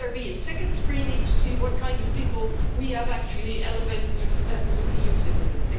Will there be a second screening to see what kind of people we have actually elevated to the status of EU citizen?